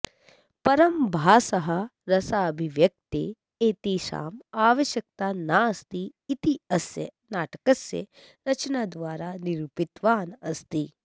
परं भासः रसाभिव्यक्तये एतेषाम् आवश्यकता नास्ति इति अस्य नाटकस्य रचनाद्वारा निरुपितवान् अस्ति